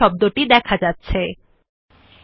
আমরা দেখতে স্বয়ংক্রিয়ভাবে শব্দ নামে করে পেস্টেড পায়